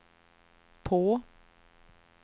på